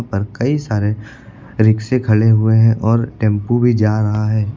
पर कई सारे रिक्शे खड़े हुए हैं और टेम्पू भी जा रहा है।